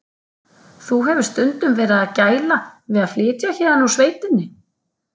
Þú hefur stundum verið að gæla við að flytja héðan úr sveitinni?